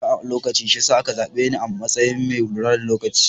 Nakan zo makaranta akan lokaci shi yasa a ka zaɓe ni a matsayin mai lura da lokaci.